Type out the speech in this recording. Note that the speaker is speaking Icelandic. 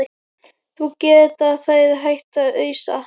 Þá geta þeir hætt að ausa.